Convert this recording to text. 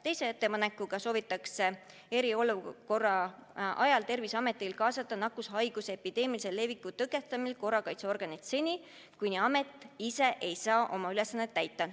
Teise ettepanekuga soovitakse, et eriolukorra ajal saaks Terviseamet kaasata nakkushaiguste epideemilise leviku tõkestamisel korrakaitseorganeid seni, kuni amet ise ei suuda oma ülesandeid täita.